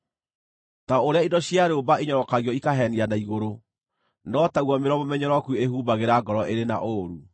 Ta ũrĩa indo cia rĩũmba inyorokagio ikahenia na igũrũ, no taguo mĩromo mĩnyoroku ĩhumbagĩra ngoro ĩrĩ na ũũru.